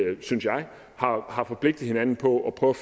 har forpligtet hinanden på at prøve